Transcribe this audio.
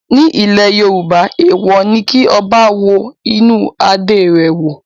Nílẹ̀ Yorùbá èèwọ̀ ni kí ọba wo inú adé rẹ̀ wò.